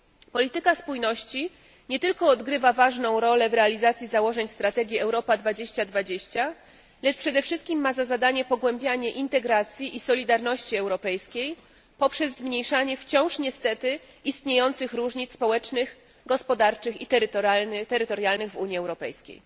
Polityka spójności nie tylko odgrywa ważną rolę w realizacji założeń strategii Europa 2020, lecz przede wszystkim ma za zadanie pogłębianie integracji i solidarności europejskiej poprzez zmniejszanie wciąż niestety istniejących różnic społecznych, gospodarczych i terytorialnych w Unii Europejskiej.